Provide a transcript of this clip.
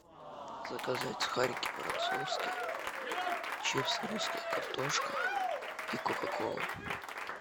заказать сухарики воронцовские чипсы русская картошка и кока кола